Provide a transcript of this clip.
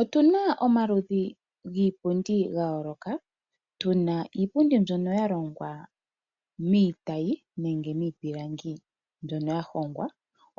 Otu na omaludhi giipundi ga yooloka. Tu na iipundi mbyono ya longwa miitayi nenge miipilangi mbyono ya hongwa,